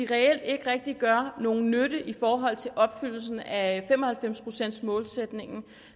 reelt ikke rigtig gør nogen nytte i forhold til opfyldelsen af fem og halvfems procents målsætningen